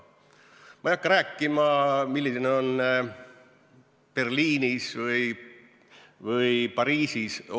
Ma ei hakka rääkima, milline on olukord Berliinis või Pariisis.